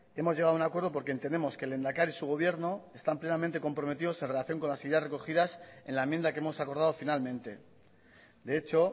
hemos llegado a un acuerdo porque entendemos que el lehendakari y su gobierno están plenamente comprometidos en relación con las ideas recogidas en la enmienda que hemos acordado finalmente de hecho